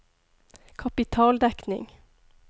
kapitaldekning